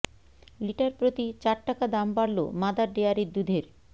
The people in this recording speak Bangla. লিটার প্রতি চার টাকা দাম বাড়ল মাদার ডেয়ারির দুধের